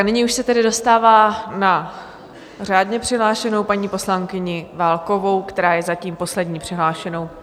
A nyní už se tedy dostává na řádně přihlášenou paní poslankyni Válkovou, která je zatím poslední přihlášenou.